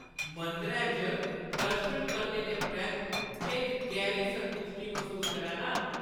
मंदरै च दर्शन करने परैंत्त में इक गैह्‌री संतुश्टी मसूस करा ना आं।